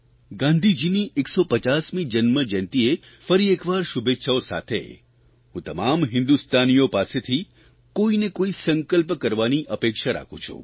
ગાંધીજીની 150મી જન્મજયંતિએ ફરી એકવાર શુભેચ્છાઓ સાથે હું તમામ હિન્દુસ્તાનીઓ પાસેથી કોઇ ને કોઇ સંકલ્પ કરવાની અપેક્ષા રાખું છું